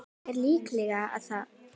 Er líklegt að